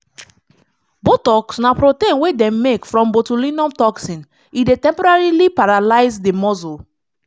botox na protein wey dem make from botulinum toxin e dey temporarily paralyze di muscle.